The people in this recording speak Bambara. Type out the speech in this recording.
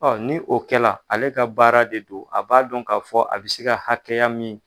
Ɔ ni o kɛra ale ka baara de don a b'a dɔn k'a fɔ a bɛ se ka hakɛya min.